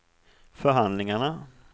förhandlingarna